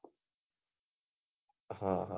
આહ